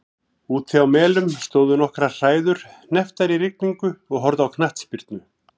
Úti á Melum stóðu nokkrar hræður hnepptar í rigningu og horfðu á knattspyrnu.